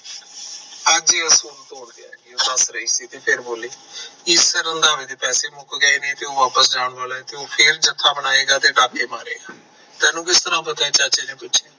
ਪੈਸੇ ਮੁੱਕ ਗਏ ਨੇ ਤੇ ਉਹ ਵਾਪਸ ਜਾਣ ਵਾਲਾ ਐ ਉਹ ਫਿਰ ਜਥਾ ਬਣਾਏਗਾ ਤੇ ਡਾਕੇ ਮਾਰੇਗਾ ਤੈਨੂੰ ਕਿਸ ਤਰ੍ਹਾਂ ਪਤਾ ਐ ਚਾਚੇ ਨੇ ਪੁੱਛਿਆ